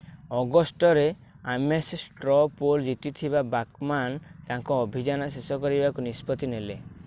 ଅଗଷ୍ଟରେ Ames straw poll ଜିତିଥିବା Bachmann ତାଙ୍କ ଅଭିଯାନ ଶେଷ କରିବାକୁ ନିଷ୍ପତ୍ତି ନେଲେ